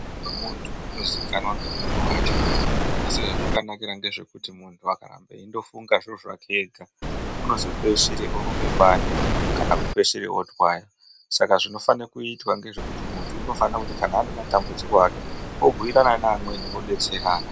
Mundu ngemundu unozikanwa ngemundu wacho asi zvazvakanakira ngezvekuti mundu akaramba eyindofunga zvinhu zvake ega unozopedzisore orombe bani kana kupedzisire otwaya, saka zvinofane kuitwa ngezvekuti mundu unofane kuti kana ane matambudziko ake obhuyirana neamweni odetserana.